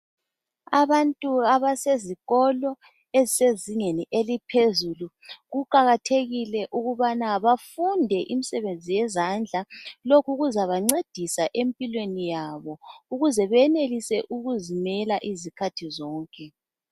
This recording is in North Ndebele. Abantu abasezikolo ezisezingeni eliphezulu kuqakathekile ukubana bafunde imsebenzi yezandla lokhu kuzabancedisa empilweni yabo ukuze beyenelise ukuzimela izikhathi zonke.